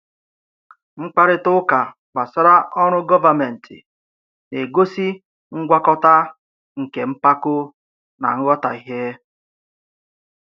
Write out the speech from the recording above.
Mkparịta ụka gbasara ọrụ gọvanmentị na-egosi ngwakọta nke mpako na nghọtahie.